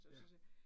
Ja